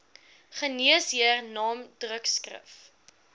geneesheer naam drukskrif